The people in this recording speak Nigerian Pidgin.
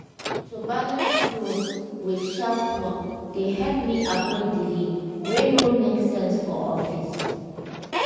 to balance rules with sharp work dey help me avoid delay wey no make sense for office.